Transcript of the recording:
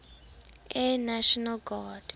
air national guard